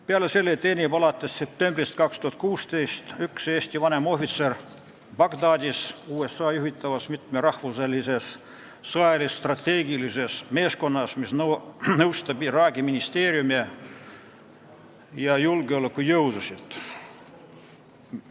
Peale selle teenib alates septembrist 2016 üks Eesti vanemohvitser Bagdadis USA juhitavas mitmerahvuselises sõjalis-strateegilises meeskonnas, kes nõustab Iraagi ministeeriume ja julgeolekujõudusid.